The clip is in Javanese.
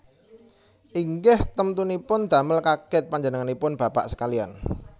Inggih temtunipun damel kagèt panjenenganipun bapak sekaliyan